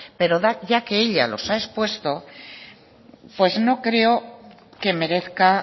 pero ya que ella los ha expuesto pues no creo que merezca